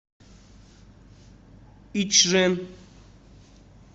ичжэн